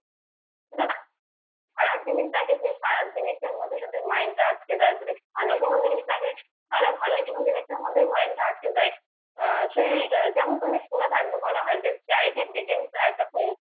খারাপ জিনিসটার মধ্যে যদি mind টা যায় যদি ভালো জিনিস দেখে তাহলে ভালো mind টা আহ সেই যেমন তুমি শুনে থাকবে বলা হয় যে charity begans begins at the home